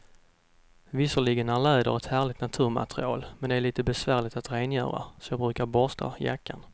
Visserligen är läder ett härligt naturmaterial, men det är lite besvärligt att rengöra, så jag brukar borsta jackan.